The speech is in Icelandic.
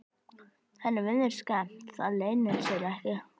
Henni virðist skemmt, það leynir sér ekki.